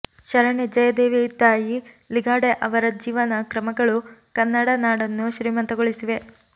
ಶರಣೆ ಜಯದೇವಿತಾಯಿ ಲಿಗಾಡೆ ಅವರ ಜೀವನ ಕ್ರಮಗಳು ಕನ್ನಡ ನಾಡನ್ನು ಶ್ರೀಮಂತಗೊಳಿಸಿವೆ